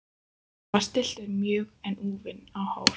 Hann var stilltur mjög en úfinn á hár.